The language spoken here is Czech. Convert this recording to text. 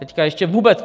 Teď ještě vůbec...